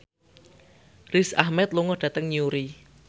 Riz Ahmed lunga dhateng Newry